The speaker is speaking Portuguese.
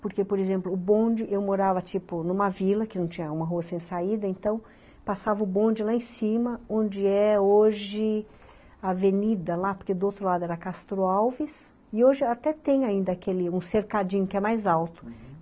Porque, por exemplo, o bonde, eu morava, tipo, numa vila, que não tinha uma rua sem saída, então, passava o bonde lá em cima, onde é hoje avenida lá, porque do outro lado era Castro Alves, e hoje até tem ainda aquele, um cercadinho que é mais alto, uhum.